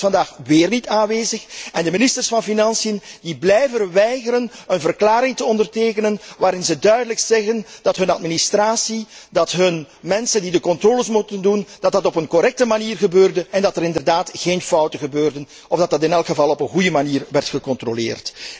De Raad is vandaag weer niet aanwezig en de ministers van financiën blijven weigeren een verklaring te ondertekenen waarin ze duidelijk zeggen dat hun administratie, dat hun mensen die de controles moeten doen, correct functioneren en dat er inderdaad geen fouten zijn gemaakt of dat dat in elk geval op een goede manier werd gecontroleerd.